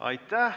Aitäh!